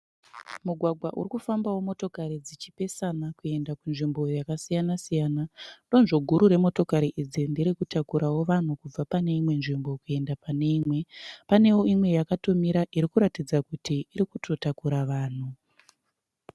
Mugwagwa uri kufambawo motokari dzichipesana kuenda kunzvimbo yakasiyana-siyana. Donzvo guru remotokari idzi ndere kutakurawo vanhu kubva pane imwe nzvimbo kuenda pane imwe. Panewo imwe yakatomira irikuratidza kuti iri kutotakura vanhu.